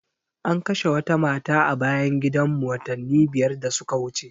An kashe wata mata a bayan gidan mu watanni biyar da suka wuce